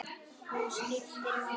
Hún skiptir máli.